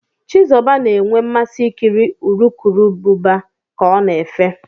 Chizuba na-enwe mmasị ikiri urukurubụba ka ọ na-efe.